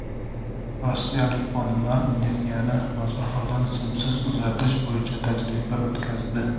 Rossiyalik olimlar energiyani masofadan simsiz uzatish bo‘yicha tajriba o‘tkazdi.